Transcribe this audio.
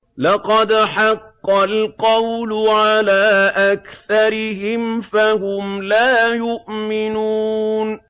لَقَدْ حَقَّ الْقَوْلُ عَلَىٰ أَكْثَرِهِمْ فَهُمْ لَا يُؤْمِنُونَ